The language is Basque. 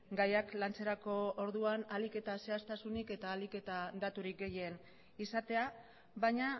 gaiak lantzerako orduan ahalik eta zehaztasunik eta ahalik eta daturik gehien izatea baina